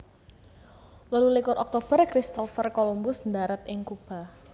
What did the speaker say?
Wolu likur Oktober Christopher Columbus ndharat ing Kuba